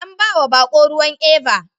An bawa bako ruwan Eva